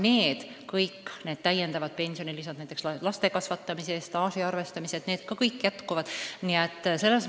Ka kõik need täiendavad pensionilisad, näiteks laste kasvatamise eest staaži arvestamised, jäävad edaspidigi.